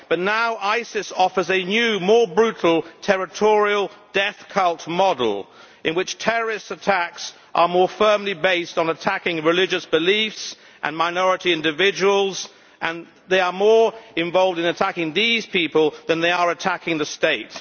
But now ISIS offers a new, more brutal, territorial death cult model, in which terrorist attacks are more firmly based on attacking religious beliefs and minority individuals, and they are more involved in attacking these people than in attacking the state.